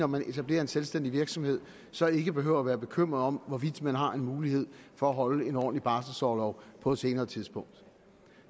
man etablerer en selvstændig virksomhed så ikke behøver være bekymret om hvorvidt man har en mulighed for at holde en ordentlig barselorlov på et senere tidspunkt